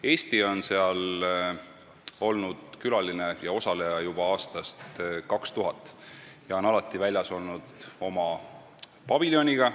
Eesti on olnud seal külaline ja osaleja juba aastast 2000 ja oleme alati olnud väljas oma paviljoniga.